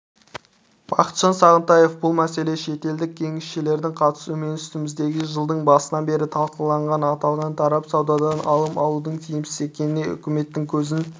бақытжан сағынтаев бұл мәселе шетелдік кеңесшілердің қатысуымен үстіміздегі жылдың басынан бері талқыланғанын аталған тарап саудадан алым алудың тиімсіз екеніне үкіметтің көзін